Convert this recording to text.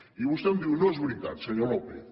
i vostè em diu no és veritat senyor lópez